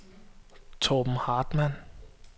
Torben Hartmann